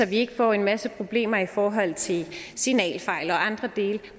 vi ikke får en masse problemer i forhold til signalfejl og andre dele